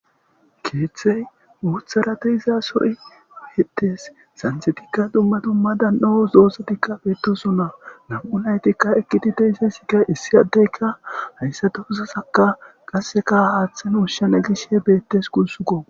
Keeththey wuutharate izasoy hetes santhetikka dumma dumma dan'o zoosetikka beetoson na nam'u naytikka ekiti deysesikka issi addeyka hayssatouzasaka qasseka aaththen hushshena gishe beettes kunsukko.